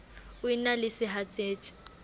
o e na le sehatsetsi